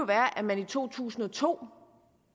være at man i to tusind og to